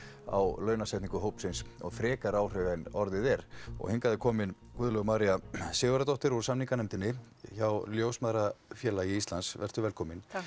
á launasetningu hópsins en orðið er og hingað er komin Guðlaug María Sigurðardóttir úr samninganefndinni hjá Ljósmæðrafélagi Íslands vertu velkomin takk